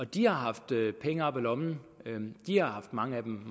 de har haft penge op af lommen mange af dem